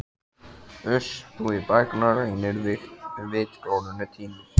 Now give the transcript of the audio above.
Uss, þú í bækurnar rýnir og vitglórunni týnir.